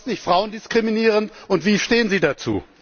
Ist das nicht frauendiskriminierend und wie stehen Sie dazu?